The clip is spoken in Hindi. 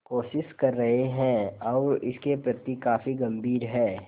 कोशिश कर रहे हैं और वे इसके प्रति काफी गंभीर हैं